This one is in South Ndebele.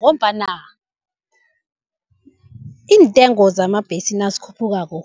Ngombana iintengo zamabhesi nazikhuphukako